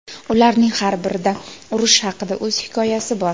Ularning har birida urush haqida o‘z hikoyasi bor.